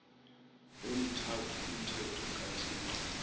emithathu umthetho kathixo